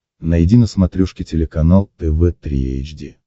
найди на смотрешке телеканал тв три эйч ди